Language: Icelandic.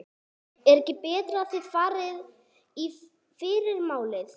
Er ekki betra að þið farið í fyrramálið?